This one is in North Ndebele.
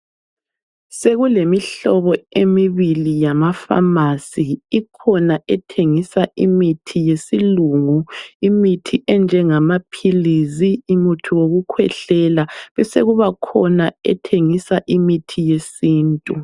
Sekulemihlobo emibili yamafamasi. Ikhona ethengisa imithi yesilungu imithi enjengamaphilisi, umuthi wokukhwehlela. Besekusibakhona ethengisa imithi yesintu.